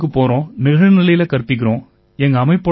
நாங்க பள்ளிகளுக்குப் போறோம் நிகழ்நிலையில கற்பிக்கிறோம்